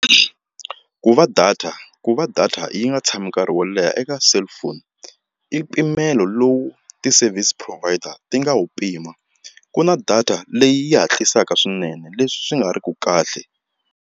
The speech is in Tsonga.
Ku va data ku va data yi nga tshami nkarhi wo leha eka cellphone i mpimelo lowu ti-service provider ti nga wu pima ku na data leyi hatlisaka swinene leswi nga ri ki kahle.